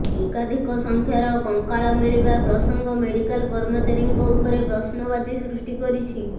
ଏକାଧିକ ସଂଖ୍ୟାର କଙ୍କାଳ ମିଳିବା ପ୍ରସଙ୍ଗ ମେଡ଼ିକାଲ କର୍ମଚାରୀଙ୍କ ଉପରେ ପ୍ରଶ୍ନବାଚୀ ସୃଷ୍ଟି କରିଛି